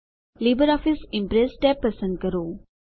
LibreOffice Impress tab પસંદ કરો